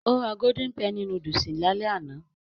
Ó ra golden penny núdúsì lálẹ́ àná